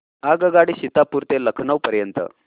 आगगाडी सीतापुर ते लखनौ पर्यंत